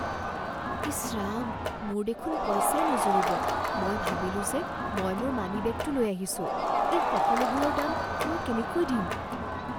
ইচ ৰাম! মোৰ দেখোন পইচাই নুজুৰিব, মই ভাবিলো যে মই মোৰ মানিবেগটো লৈ আহিছোঁ। এই সকলোবোৰৰ দাম মই কেনেকৈ দিম?